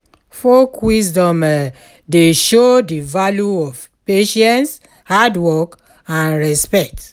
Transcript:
Folk wisdom um dey show de value of patience, hard work, and respect.